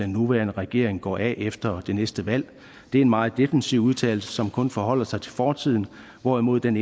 nuværende regering går af efter det næste valg det er en meget defensiv udtalelse som kun forholder sig til fortiden hvorimod den